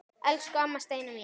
Elsku amma Steina mín.